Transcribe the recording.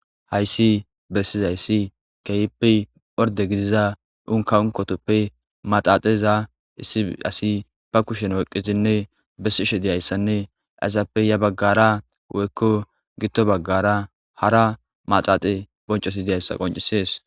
Hayssi bessizayssi keyippi phorde gidiza unka unkotoppe maxaaxeza issi asi ba kushen woyqqizinne bessishe diyayssanne aysappe ya baggara woykko gitto baggara hara maxaaxe boncosi deyayssa qoncisees